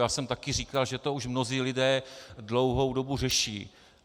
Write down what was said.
Já jsem také říkal, že to už mnozí lidé dlouhou dobu řeší.